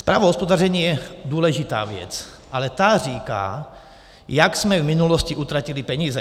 Zpráva o hospodaření je důležitá věc, ale ta říká, jak jsme v minulosti utratili peníze.